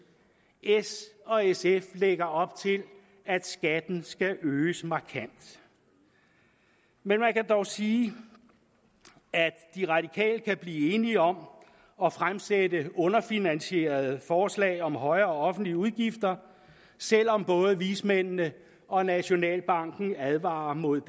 s og sf lægger op til at skatten skal øges markant men man kan dog sige at de radikale kan blive enige om at fremsætte underfinansierede forslag om højere offentlige udgifter selv om både vismændene og nationalbanken advarer imod